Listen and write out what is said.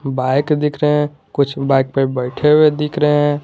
Bike दिख रहे हैं कुछ बाइक पे बैठे हुए दिख रहे हैं।